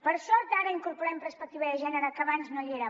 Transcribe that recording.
per sort ara incorporem perspectiva de gènere que abans no hi era